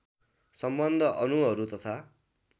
सम्बन्ध अणुहरू तथा